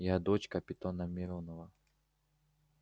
я дочь капитана миронова